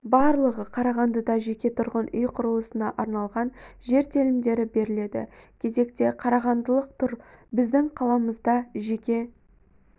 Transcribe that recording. барлығы қарағандыда жеке тұрғын үй құрылысына арналған жер телімдері беріледі кезекте қарағандылық тұр біздің қаламызда жеке